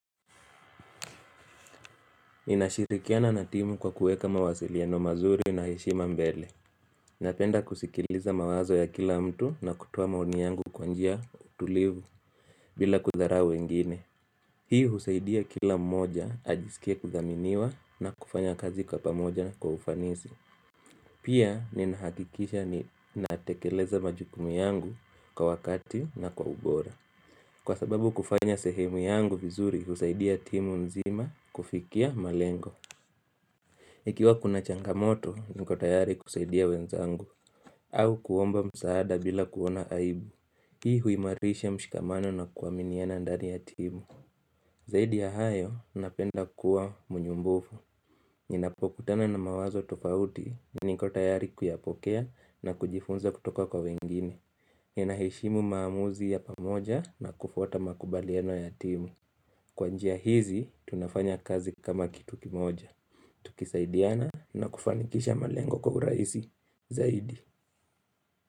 Ninashirikiana na timu kwa kuweka mawasiliano mazuri na heshima mbele Napenda kusikiliza mawazo ya kila mtu na kutoa maoni yangu kwa njia tulivu bila kudharau wengine. Hii husaidia kila mmoja ajisikia kuthaminiwa na kufanya kazi kwa pamoja kwa ufanisi Pia ninahakikisha ninatekeleza majukumu yangu kwa wakati na kwa ubora. Kwa sababu kufanya sehemu yangu vizuri husaidia timu nzima kufikia malengo Ikiwa kuna changamoto, niko tayari kusaidia wenzangu au kuomba msaada bila kuona aibu Hii huimarisha mshikamano na kuaminiana ndani ya timu Zaidi ya hayo, napenda kuwa mnyumbufu Ninapokutana na mawazo tofauti, niko tayari kuyapokea na kujifunza kutoka kwa wengine Ninaheshimu maamuzi ya pamoja na kufuata makubaliano ya timu Kwa njia hizi, tunafanya kazi kama kitu kimoja Tukisaidiana na kufanikisha malengo kwa uraisi zaidi.